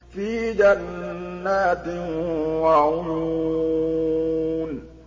فِي جَنَّاتٍ وَعُيُونٍ